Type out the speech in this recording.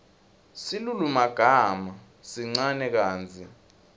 silulumagama sincane kantsi